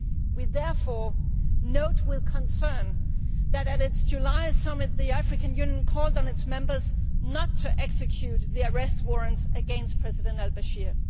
We therefore note with concern that, at its July Summit, the African Union called on its Members not to execute the arrest warrants against President al Bashir.